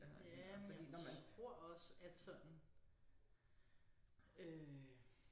Ja men jeg tror også at sådan øh